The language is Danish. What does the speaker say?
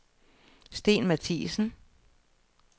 Sten Matthiesen